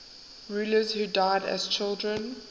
rulers who died as children